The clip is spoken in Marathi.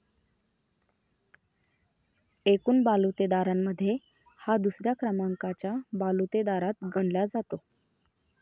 एकूण बालुतेदारारांमध्ये हा दुसऱ्या क्रमांकाच्या बालुतेदारात गणला जातो.